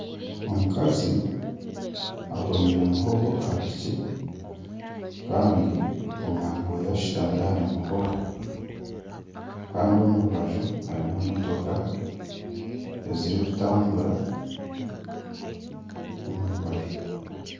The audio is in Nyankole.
Omukazi akoomire muhongo aha piki kandi omwana weeye ashutamire ahari muhongo kandi omu rubaju harimu emotooka ezirikutambura omu rubaju.